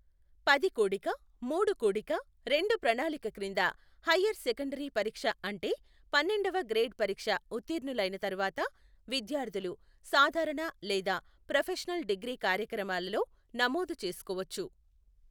పది కూడిక మూడు కూడిక రెండు ప్రణాళిక క్రింద, హయ్యర్ సెకండరీ పరీక్ష అంటే పన్నెండవ గ్రేడ్ పరీక్ష ఉత్తీర్ణులైన తరువాత, విద్యార్థులు సాధారణ లేదా ప్రొఫెషనల్ డిగ్రీ కార్యక్రమాలలో నమోదు చేసుకోవచ్చు.